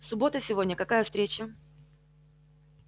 суббота сегодня какая встреча